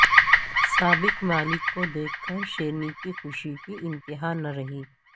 سابق مالک کو دیکھ کر شیرنی کی خوشی کی ا نتہا نہ رہی